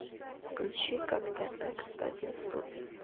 включи как тогда константин ступин